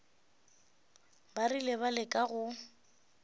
ba rile ka leka go